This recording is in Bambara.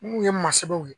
N kun ye masalaw ye